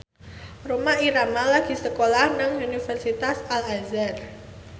Rhoma Irama lagi sekolah nang Universitas Al Azhar